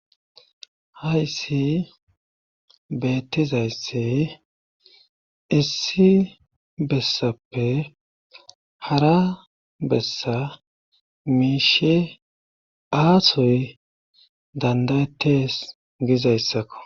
hayssi beettizaysse issi bessappe hara bessa miishe aasoy dandayetes gizayssakko.